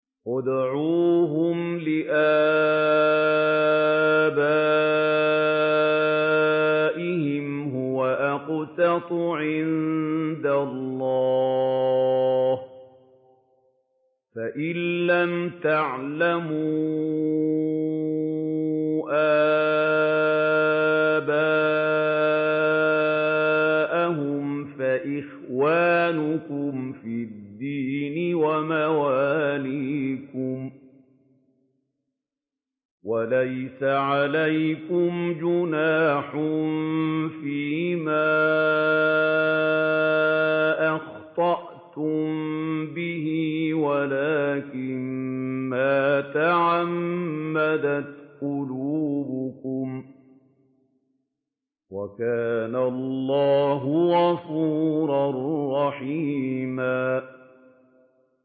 ادْعُوهُمْ لِآبَائِهِمْ هُوَ أَقْسَطُ عِندَ اللَّهِ ۚ فَإِن لَّمْ تَعْلَمُوا آبَاءَهُمْ فَإِخْوَانُكُمْ فِي الدِّينِ وَمَوَالِيكُمْ ۚ وَلَيْسَ عَلَيْكُمْ جُنَاحٌ فِيمَا أَخْطَأْتُم بِهِ وَلَٰكِن مَّا تَعَمَّدَتْ قُلُوبُكُمْ ۚ وَكَانَ اللَّهُ غَفُورًا رَّحِيمًا